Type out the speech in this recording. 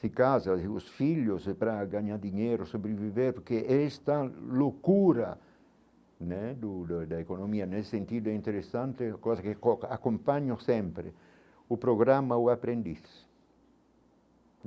Se casa, e os filhos, se é para ganhar dinheiro, sobreviver, porque esta loucura né do da economia, nesse sentido é interessante, coisa que acompanho sempre, o programa ou aprendiz.